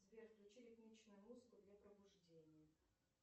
сбер включи ритмичную музыку для пробуждения